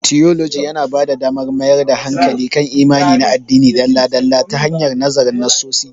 Tiyoloji yana ba da damar mayar da hankali kan imani na addini dalla-dalla ta hanyar nazarin nassosi